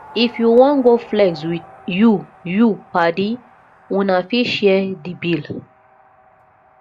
if you wan go flex with you you padi una fit share di bill